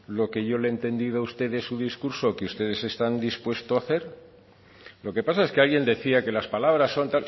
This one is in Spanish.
lo que yo le he entendido a usted en su discurso que ustedes están dispuesto a hacer lo que pasa es que alguien decía que las palabras son